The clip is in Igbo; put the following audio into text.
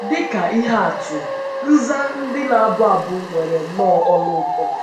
Dị ka ihe atụ, nza ndị na - abụ abụ nwere nnọọ olu ụtọ.